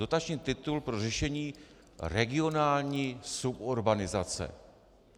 Dotační titul pro řešení regionální suburbanizace.